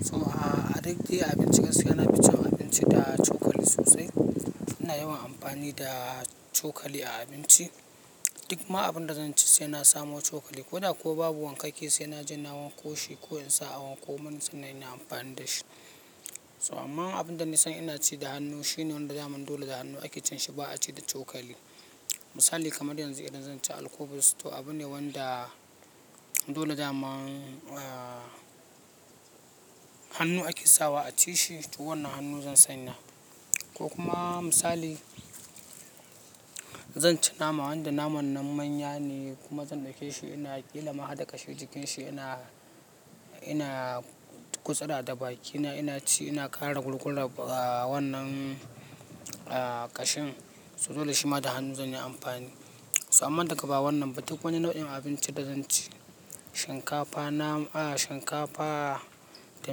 So a duk dai abinci gaskiya nafi cin abinci da cokali sosai. Muna yawan amfani da cokali a abinci. Duk ma abinda zan ci sai na samo cokali. Ko da kuwa babu wankake sai na ji na wanko shi ko in sa a wanko mun sannan inyi amfani da shi. So amma abunda nasan ina ci da hannu shine wanda daman dole da hannu ake cin shi ba a ci da cokali. Misali kamar yanzu idan zan ci alkubus to abune wanda dole daman hannu ake sawa a ci shi toh wannan hannu zan sanya. Ko kuma misali zan ci nama wanda naman nan manya ne kuma zan ɗauke shi ina ƙila ma harɗa kashi jikin shi ina, ina gutsura da bakina ina ci ina kare gul-gular wannan ƙashin. So dole shi ma da hannu zan yi amfani. So amma daga ba wannan ba duk wani nau'in abinci da zan ci shinkafa, nam, shinkafa da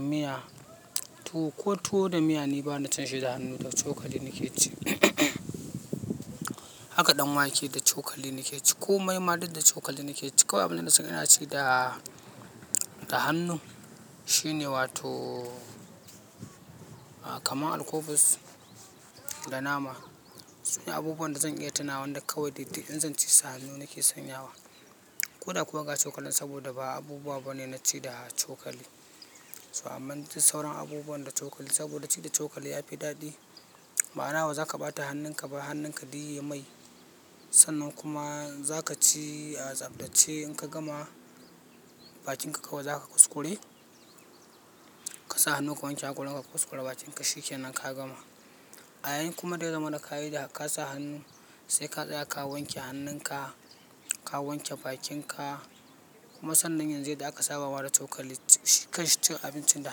miya toh ko tuwo da miya ni bana cin shi da hannu da cokali nake ci. Haka ɗan wake da cokali nake ci ko mai ma duk da cokali nake ci. Kawai abinda nasan ina ci da, da hannu shine wato kamar alkubus da nama. Sune abubuwan da zan iya tuna wanda kawai dai duk in zan ci sa hannu nake sanyawa. Ko da kuwa ga cokalin saboda ba abubuwa bane naci da cokali. So amma duk sau ran abubuwan da cokali saboda ci da cokali ya fi daɗi. Ma'ana ba zaka ɓata hannunka ba hannunka duk yayi mai. Sannan kuma za ka ci a tsaftace in ka gama bakinka kawai za ka kuskure. Ka sa hannu ka wanke hakoranka ka kuskure bakinka shikenan ka gama. A yayin kuma da ya zamana ka yi da ka sa hannu sai ka tsaya ka wanke hannunka, ka wanke bakinka. Kuma sannan yanzu yadda aka saba wa da cokali shi kai shi cin abinci da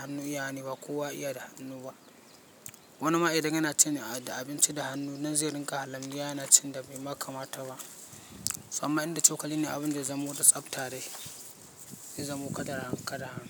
hannu iyawane ba kowa ya iya da hannu ba. Wani ma idan yana cin a, abinci da hannu nan zai ringa halimiyya yana cin da bai ma kamata ba. So amma inda cokali ne abinda ya zamo da tsafta dai zai zamo kadan kadan.